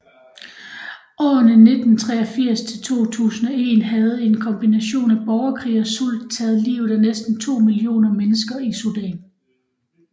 Årene 1983 til 2001 havde en kombination af borgerkrig og sult taget livet af næsten 2 millioner mennesker i Sudan